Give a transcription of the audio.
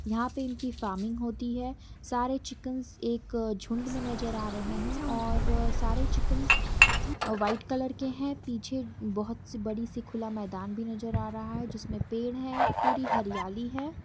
यहां पे इनकी फार्मिंग होती है सारे चिकनस एक झुंड में नजर आ रहे हैं और सारे चिकन व्हाइट कलर के हैं पीछे बहुत से बड़ी से खुला मैदान भी नजर आ रहा है जिसमें पेड़ है पूरी हरियाली है।